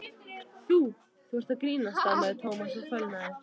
Þú- þú ert að grínast stamaði Thomas og fölnaði.